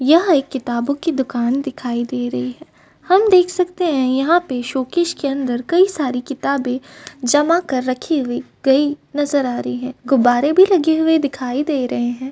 यहाँ एक किताबों की दुकान दिखाई दे रही है। हम देख सकते हैं यहाँ पर शोकेस के अंदर कई सारी किताबें जमा कर रखी हुई गई नजर आ रहे हैं। गुब्बारे भी लगे हुए दिखाई दे रहे हैं।